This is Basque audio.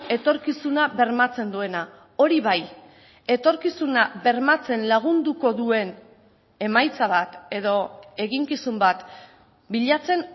etorkizuna bermatzen duena hori bai etorkizuna bermatzen lagunduko duen emaitza bat edo eginkizun bat bilatzen